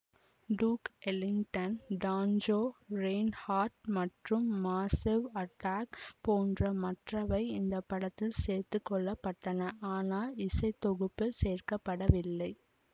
duke Ellington Django Reinhardt மற்றும் Massive Attack போன்ற மற்றவை இந்த படத்தில் சேர்த்துக்கொள்ளப்பட்டன ஆனால் இசைத்தொகுப்பில் சேர்க்க படவில்லை